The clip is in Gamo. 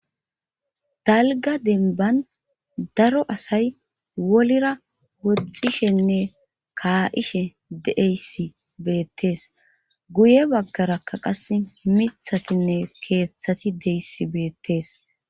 Dalga demban daro asay wolira woxishenne kaa7ishe deeyssi beettees guye baggara kaqas mithatinne keeththati deyisi beettees.